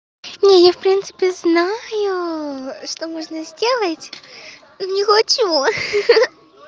не я в принципе знаю что можно сделать не хочу ха ха ха